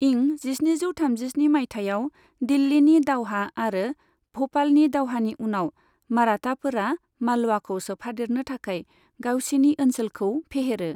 इं जिस्निजौ थामजिस्नि मायथाइयाव दिल्लीनि दावहा आरो भ'पालनि दावहानि उनाव मराटाफोरा मालवाखौ सोफादेरनो थाखाय गावसिनि ओनसोलखौ फेहेरो।